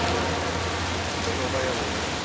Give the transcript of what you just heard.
ну что долбаебы блять